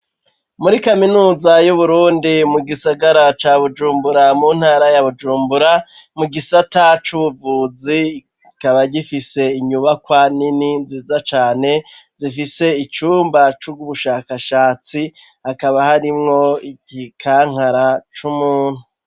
Muri kaminuza y'uburundi mu gisagara ca bujumbura mu ntara ya bujumbura mu gisata c'ubuvuzi ikaba gifise inyubakwa nini nziza cane zifise icumba c'ubushakashatsi hakaba harimwo igikankara c'umuntu.